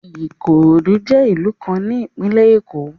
Ikorodu jẹ ilu kan ni Ipinle Eko